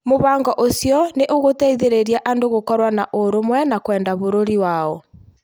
Mũbango ũcio nĩ ũgũteithĩrĩria andũ gũkorũo na ũrũmwe na kwenda bũrũri wao.